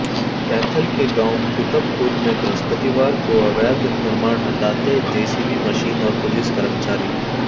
कैथल के गांव कुतबपुर में बृहस्पतिवार को अवैध निर्माण हटाते जेसीबी मशीन और पुलिस कर्मचारी